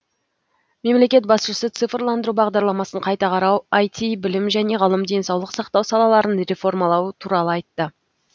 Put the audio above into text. мемлекет басшысы цифрландыру бағдарламасын қайта қарау айти білім және ғылым денсаулық сақтау салаларын реформалау туралы айтты